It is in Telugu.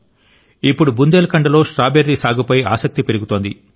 ఇప్పుడు బుందేల్ఖండ్లో స్ట్రాబెర్రీ సాగు పై ఆసక్తి పెరుగుతోంది